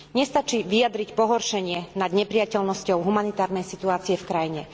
Nestačí vyjadriť pohoršenie nad neprijateľnosťou humanitárnej situácie v krajine.